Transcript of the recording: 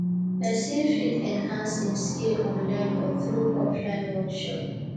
persin fit enhance im skill online or through offline workshop